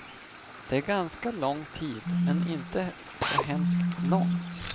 Det är ganska lång tid, men inte så hemskt lång.